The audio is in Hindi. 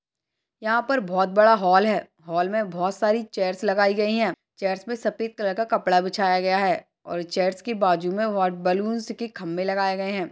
यहाँ पर बहुत बड़ा हाल है हाल में बहुत सारी चेयर्स लगाई गई है चेयर्स पर सफेद कलर का कपड़ा बिछाया गया है और चेयर्स की बाजू में बैलून्स के खंभे लगाए गए है।